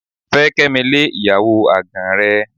Fẹ́ Kẹ́mi lé ìyàwó àgàn rẹ.